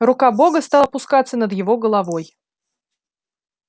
рука бога стала опускаться над его головой